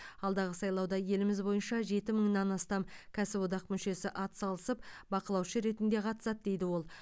алдағы сайлауда еліміз бойынша жеті мыңнан астам кәсіподақ мүшесі атсалысып бақылаушы ретінде қатысады дейді ол